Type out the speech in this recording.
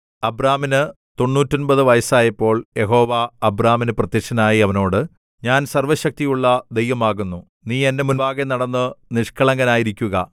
അബ്രാമിനു തൊണ്ണൂറ്റൊന്‍പത് വയസ്സായപ്പോൾ യഹോവ അബ്രാമിനു പ്രത്യക്ഷനായി അവനോട് ഞാൻ സർവ്വശക്തിയുള്ള ദൈവം ആകുന്നു നീ എന്റെ മുമ്പാകെ നടന്നു നിഷ്കളങ്കനായിരിക്കുക